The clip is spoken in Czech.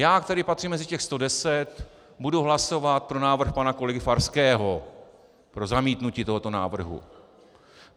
Já, který patřím mezi těch 110, budu hlasovat pro návrh pana kolegy Farského, pro zamítnutí tohoto návrhu.